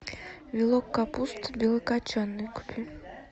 вилок капусты белокочанной купи